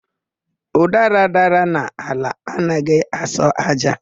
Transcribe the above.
Ụdara dara n'ala, adịghị asọ ájá.